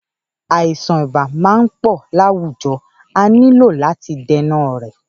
Àìsàn ibà ti ma ń pọ láwùjọ a nílò làti dènà rẹ̀